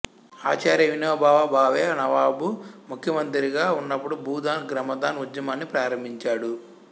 ఆచార్య వినోబాభావే నబబాబు ముఖ్యమంత్రిగా ఉన్నప్పుడు భూదాన్ గ్రామదాన్ ఉద్యమాన్ని ప్రారంభించాడు